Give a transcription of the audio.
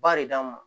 Ba de d'an ma